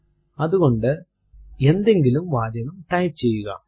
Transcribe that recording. അതുകൊണ്ട് എന്തെങ്കിലും വാചകം ടൈപ്പ് ചെയ്യുക